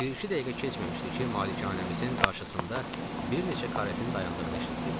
Bir-iki dəqiqə keçməmişdi ki, malikanəmizin qarşısında bir neçə karetin dayandığını eşitdik.